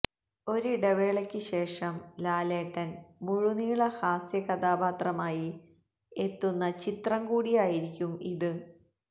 ഒരിടവേളയ്ക്ക് ശേഷം ലാലേട്ടന് മുഴുനീള ഹാസ്യ കഥാപാത്രമായി എത്തുന്ന ചിത്രം കൂടിയായിരിക്കും ഇത്